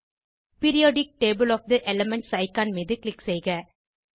periodic table of the elements icon மீது click செய்க